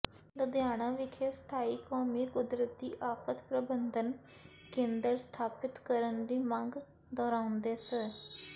ਲੁਧਿਆਣਾ ਵਿਖੇ ਸਥਾਈ ਕੌਮੀ ਕੁਦਰਤੀ ਆਫਤ ਪ੍ਰਬੰਧਨ ਕੇਂਦਰ ਸਥਾਪਿਤ ਕਰਨ ਦੀ ਮੰਗ ਦੁਹਰਾਉਂਦਿਆਂ ਸ